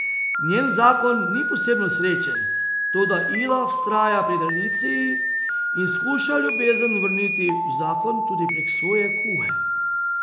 Njen zakon ni posebno srečen, toda Ila vztraja pri tradiciji in skuša ljubezen vrniti v zakon tudi prek svoje kuhe.